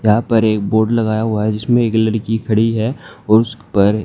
यहां पर एक बोर्ड लगाया हुआ है जिसमें एक लड़की खड़ी है और उस पर--